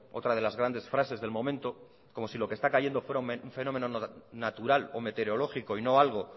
otra de las grandes frases del momento como si lo que está cayendo fuera un fenómeno natural o meteorológico y no algo